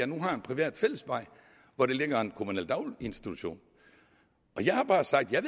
nu har en privat fællesvej hvor der ligger en kommunal daginstitution og jeg har bare sagt at